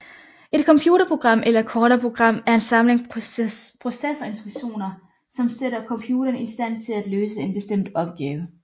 Et computerprogram eller kortere program er en samling processorinstruktioner som sætter computeren i stand til at løse en bestemt opgave